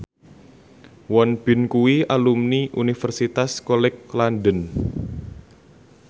Won Bin kuwi alumni Universitas College London